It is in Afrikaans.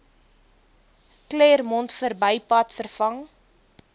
claremont verbypad vervang